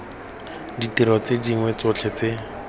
ditiro tse dingwe tsotlhe tse